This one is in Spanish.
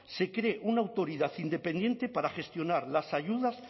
se cree una autoridad independiente para gestionar las ayudas